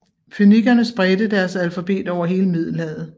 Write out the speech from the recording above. Fønikerne spredte deres alfabet over hele Middelhavet